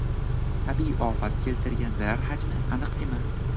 Tabiiy ofat keltirgan zarar hajmi aniq emas.